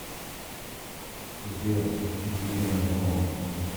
сбер диэнмо